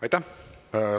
Aitäh!